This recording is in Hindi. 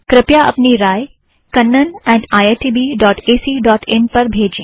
कृपया अपनी राय Kannan at IIT B dot AC dot in पर भेजें